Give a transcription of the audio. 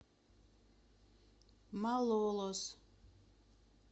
малолос